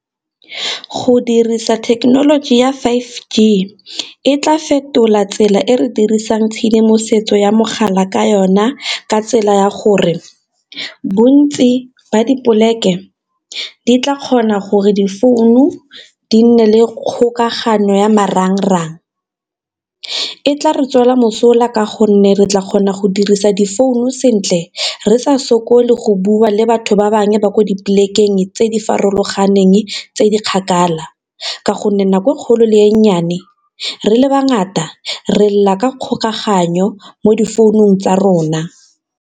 Go dirisa thekenoloji ya five G e tla fetola tsela e re dirisang tshedimosetso ya mogala ka yona ka tsela ya gore bontsi ba dipoleke di tla kgona gore difounu di nne le kgokagano ya marangrang, e tla re tswela mosola ka gonne re tla kgona go dirisa difounu sentle re sa sokole go bua le batho ba bangwe ba kwa di polekeng tse di farologaneng tse di kgakala, ka gonne nako kgolo le e nnyane re le ba ngata re lela ka kgokaganyo mo difounung tsa rona.